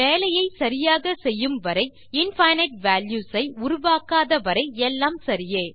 வேலையை சரியாக செய்யும் வரை இன்ஃபினைட் வால்யூஸ் ஐ உருவாக்காத வரை எல்லாம் சரியே